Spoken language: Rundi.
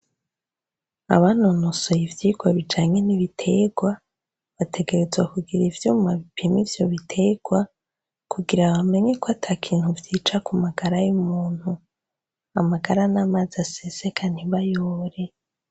Abanonosoye ivyigwa bijanye n'ibiterwa, bategerezwa kugira ivyuma bipima ivyo bitegwa kugira bamenye kw'atakintu vyica ku magara y'umuntu, amagara n'amazi aseseka ntibayobore.